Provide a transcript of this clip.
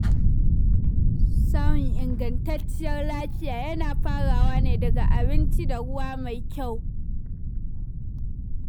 Samun ingantacciyar lafiya yana farawa ne daga abinci da ruwa mai kyau.